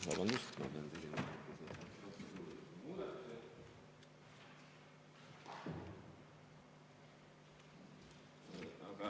Aitäh!